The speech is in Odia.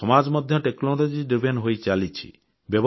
ଆମ ସମାଜ ମଧ୍ୟ ପ୍ରଯୁକ୍ତି ଆଧାରିତ ହୋଇଚାଲିଛି